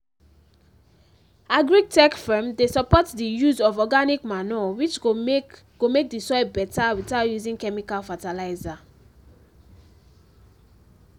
agri-tech firm dey support dey use of organic manure which go make go make the soil beta without using chemical fertilizer